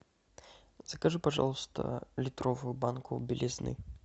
закажи пожалуйста литровую банку белизны